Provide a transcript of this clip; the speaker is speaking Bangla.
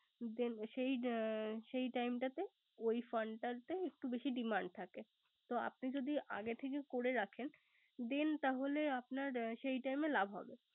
Then সেই time টাতে ওই fund টাতে একটু বেশি demand থাকে। তো আপনি যদি আগে করে রাখেন then তাহলে আপানার সেই time এ লাভ হবে